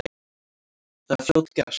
Það er fljótgert.